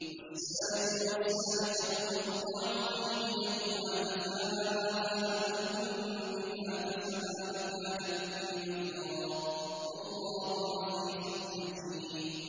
وَالسَّارِقُ وَالسَّارِقَةُ فَاقْطَعُوا أَيْدِيَهُمَا جَزَاءً بِمَا كَسَبَا نَكَالًا مِّنَ اللَّهِ ۗ وَاللَّهُ عَزِيزٌ حَكِيمٌ